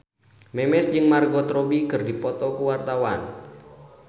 Memes jeung Margot Robbie keur dipoto ku wartawan